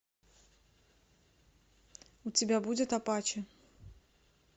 у тебя будет апачи